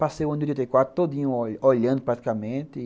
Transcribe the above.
Passei o ano de oitenta e quatro todinho olhando praticamente.